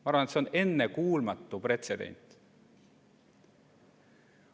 Ma arvan, et see on ennekuulmatu pretsedent.